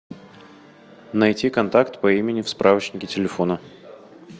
найти контакт по имени в справочнике телефона